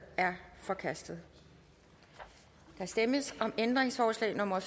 er forkastet der stemmes om ændringsforslag nummer